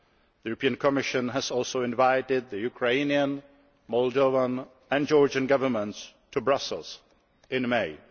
The European Commission has also invited the Ukrainian, Moldovan and Georgian Governments to Brussels in May.